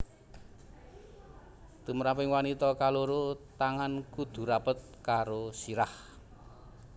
Tumraping wanita kaloro tangan kudu rapet karo sirah